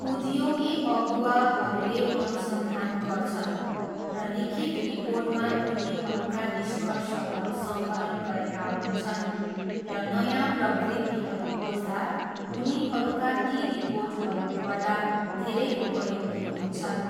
उद्योगी अगुवाहरूले अनुसन्धान गर्छन् र लिखित रिपोर्टमा उनीहरूका निष्कर्षहरू सङ्कलन गरेका हुन्छन् र नयाँ प्रवृत्तिहरू खोज्दा उनीहरूका ती रिपोर्टहरू पढ्दा धेरै उपयोगी हुन्छन्।